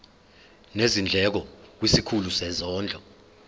nezindleko kwisikhulu sezondlo